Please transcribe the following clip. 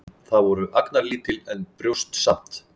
Þau voru agnarlítil, en brjóst samt.